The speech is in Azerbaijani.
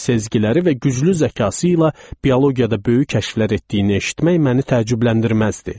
Sezgəriləri və güclü zəkası ilə biologiyada böyük kəşflər etdiyini eşitmək məni təəccübləndirməzdi.